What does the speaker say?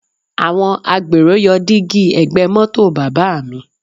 Àwọn agbèrò yọ dígí ẹ̀gbẹ́ mọ́tò bàbá mi